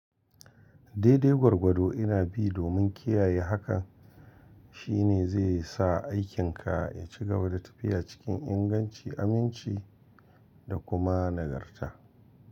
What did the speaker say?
Daidai gwargwado ina bi domin kiyaye hakan shine zai sa aikinka ya ci gaba da tafiya cikin inganci, aminci da kuma nagarta.